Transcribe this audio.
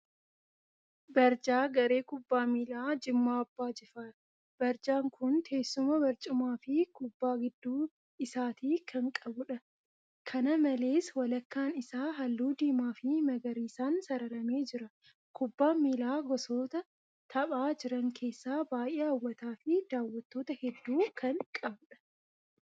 Barjaa garee kubbaa miilaa Jimmaa Abbaa Jifaar. Barjaan kun teessuma barcumaa fi kubbaa gidduu isaatii kan qabudha. Kana malees walakkaan isaa halluu diimaa fi magariisaan sararamee jira. Kubbaan miilaa gosoota taphaa jiran keessaa baay'ee hawwataa fi daawwattoota hedduu kan qabudha.